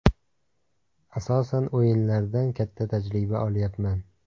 Asosan o‘yinlardan katta tajriba olyapman.